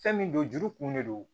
Fɛn min don juru kun de don